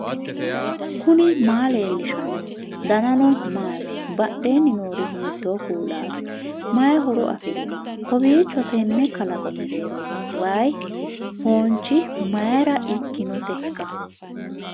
knuni maa leellishanno ? danano maati ? badheenni noori hiitto kuulaati ? mayi horo afirino ? kowiicho tenne kalaqo mereero wayi foonchi mayra ikkinoteikka